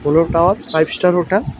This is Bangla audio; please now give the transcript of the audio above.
Polo Towers five star hotel.